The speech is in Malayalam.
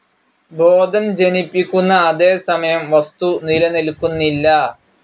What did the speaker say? ബോധം ജനിപ്പിക്കുന്ന അതേസമയം വസ്തു നിലനിൽക്കുന്നില്ല.